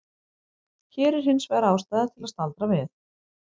Hér er hins vegar ástæða til að staldra við.